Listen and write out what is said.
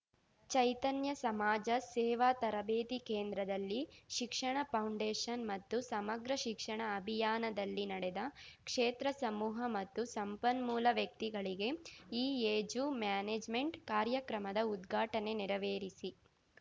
ಚೈತನ್ಯ ಸಮಾಜ ಸೇವಾ ತರಬೇತಿ ಕೇಂದ್ರದಲ್ಲಿ ಶಿಕ್ಷಣ ಫೌಂಡೇಶನ್‌ ಮತ್ತು ಸಮಗ್ರ ಶಿಕ್ಷಣ ಅಭಿಯಾನದಲ್ಲಿ ನಡೆದ ಕ್ಷೇತ್ರ ಸಮೂಹ ಮತ್ತು ಸಂಪನ್ಮೂಲ ವ್ಯಕ್ತಿಗಳಿಗೆ ಇಎಜು ಮ್ಯಾನೇಜ್‌ಮೆಂಟ್‌ ಕಾರ್ಯಕ್ರಮದ ಉದ್ಘಾಟನೆ ನೆರವೇರಿಸಿ